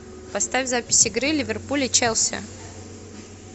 поставь запись игры ливерпуль и челси